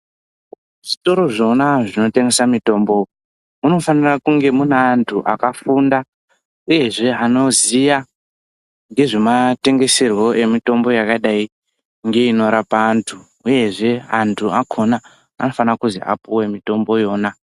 Zvitoro zvona zvinotengesa mitombo munofanira kunge mune anthu akafunda uyezve anoziya ngezvema tengeserwo emitombo yakadai ngeinorapa anthu uyezve anthu akona anofana kuzi apuwe mitombo yona.